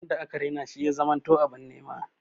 Wanda aka Raina she ya zamanto abin nim.